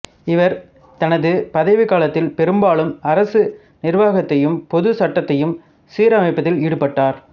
இவர் தனது பதவிக் காலத்தில் பெரும்பாலும் அரச நிருவாகத்தையும் பொதுச் சட்டத்தையும் சீரமைப்பதில் ஈடுபட்டார்